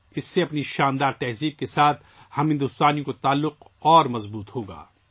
اس سے ہم بھارتیوں کا ہماری شاندار ثقافت سے تعلق مضبوط ہوگا